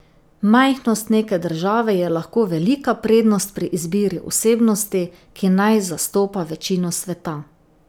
Majhnost neke države je lahko velika prednost pri izbiri osebnosti, ki naj zastopa večino sveta.